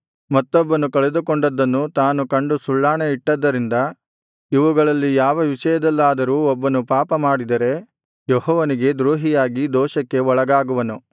ಮತ್ತೊಬ್ಬನು ಕಳೆದುಕೊಂಡದ್ದನ್ನು ತಾನು ಕಂಡು ಸುಳ್ಳಾಣೆಯಿಟ್ಟದ್ದರಿಂದ ಇವುಗಳಲ್ಲಿ ಯಾವ ವಿಷಯದಲ್ಲಾದರೂ ಒಬ್ಬನು ಪಾಪಮಾಡಿದರೆ ಯೆಹೋವನಿಗೆ ದ್ರೋಹಿಯಾಗಿ ದೋಷಕ್ಕೆ ಒಳಗಾಗುವನು